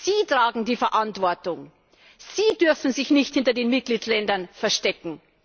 Sie tragen die Verantwortung, Sie dürfen sich nicht hinter den Mitgliedstaaten verstecken!